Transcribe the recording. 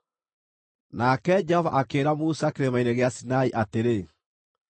Nake Jehova akĩĩra Musa Kĩrĩma-inĩ gĩa Sinai atĩrĩ,